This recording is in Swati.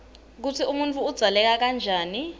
kutsi umuntfu udzaleke njani